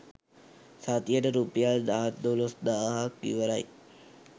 සතියට රුපියල් දහ දොලොස් දාහක් ඉවරයි